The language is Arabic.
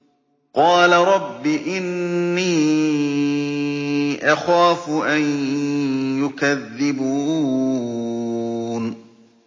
قَالَ رَبِّ إِنِّي أَخَافُ أَن يُكَذِّبُونِ